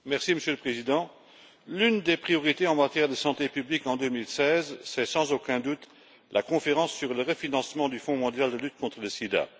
Monsieur le Président, l'une des priorités en matière de santé publique en 2016, c'est, sans aucun doute, la conférence sur le refinancement du Fonds mondial de lutte contre le sida.